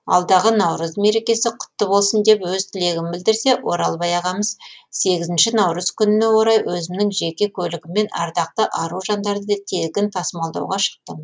алдағы наурыз мерекесі құтты болсын деп өз тілегін білдірсе оралбай ағамыз сегізінші наурыз күніне орай өзімнің жеке көлігіммен ардақты ару жандарды тегін тасымалдауға шықтым